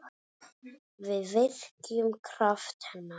Við virkjum kraft hennar.